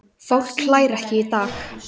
Fólk hlær ekki í dag.